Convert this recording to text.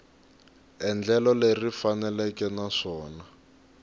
endlelo leri ri faneleke naswona